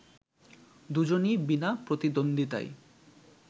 দুজনই বিনা প্রতিদ্বন্দ্বিতায়